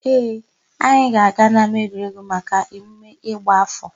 Ee, anyị ga-aga n'ámáegwuregwu maka emume ịgba áfọ̀.